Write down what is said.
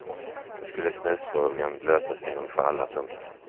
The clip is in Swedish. Då skulle snusfrågan lösas en gång för alla. punkt